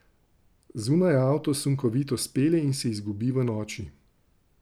Zunaj avto sunkovito spelje in se izgubi v noči.